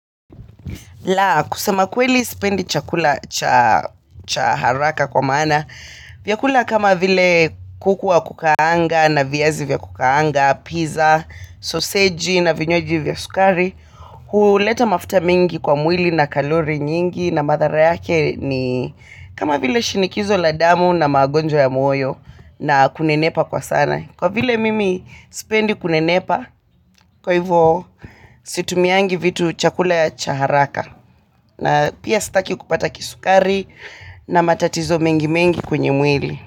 La, kusema kweli sipendi chakula cha haraka kwa maana. Vyakula kama vile kuku wa kukaanga na viazi vya kukaanga, pizza, sausage na vinywaji vya sukari. Huleta mafuta mingi kwa mwili na kalori nyingi na madhara yake ni kama vile shinikizo la damu na magonjwa ya moyo na kunenepa kwa sana. Kwa vile mimi sipendi kunenepa, kwa hivyo situmiangi vitu chakula ya cha haraka. Na pia sitaki kupata kisukari na matatizo mengi mengi kwenye mwili.